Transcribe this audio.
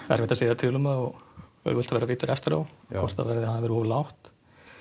erfitt að segja til um það og auðvelt að vera vitur eftir á hvort að verðið hafi verið oft lágt